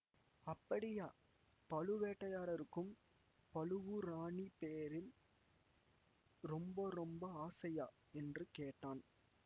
அப்படியா பழுவேட்டரையாரருக்குப் பழுவூர் ராணி பேரில் ரொம்ப ரொம்ப ஆசையா என்று கேட்டான்